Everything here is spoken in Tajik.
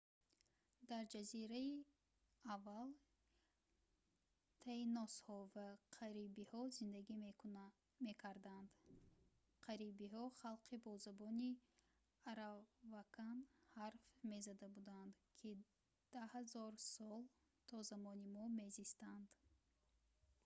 дар ҷазира аввал таиносҳо ва карибиҳо зиндагӣ мекарданд карибиҳо халқи бо забони аравакан ҳарф мезада буданд ки 10 000 сол то замони мо мезистанд